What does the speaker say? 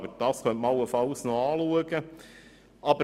Aber das könnte man allenfalls noch anschauen.